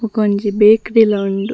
ಬಕೊಂಜಿ ಬೇಕ್ರಿಲ ಲ ಉಂಡು.